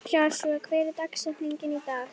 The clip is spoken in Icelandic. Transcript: Joshua, hver er dagsetningin í dag?